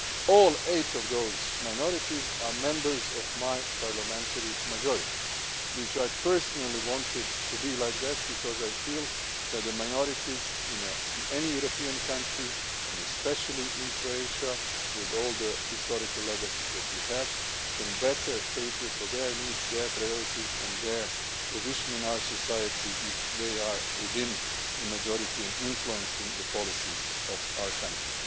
this? All eight of those minorities are members of my parliamentary majority, which I personally wanted to be like that because I feel that the minorities in any European country, and especially in Croatia with all the historical legacies that we have, can better cater for their needs, their priorities and their position in our society if they are within the majority and influencing the policies of our